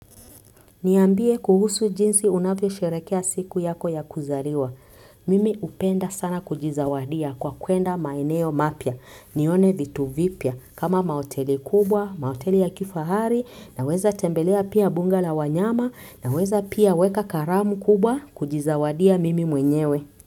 Niambie kuhusu jinsi unavyosherehekea siku yako ya kuzaliwa. Mimi hupenda sana kujizawadia kwa kwenda maeneo mapya. Nione vitu vipya kama mahoteli kubwa, mahoteli ya kifahari, naweza tembelea pia mbunga la wanyama, naweza pia weka karamu kubwa kujizawadia mimi mwenyewe.